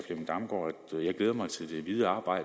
jeg glæder mig til det videre